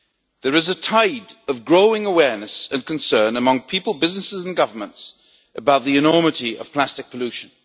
There is a tide of growing awareness and concern among people, businesses and governments about the enormity of plastic pollution.